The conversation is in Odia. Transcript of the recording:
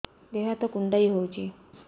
ଦେହ ହାତ କୁଣ୍ଡାଇ ହଉଛି